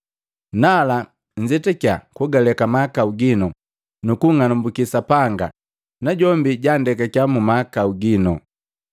Nala, nzetakia, kugalekake mahakau ginu, nukung'alumbuki Sapanga najombi ja nndekakia mahakau ginu,